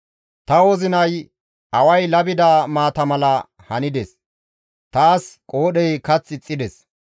Ta wozinay away labida maata mala handes; taas qoodhey kath ixxides.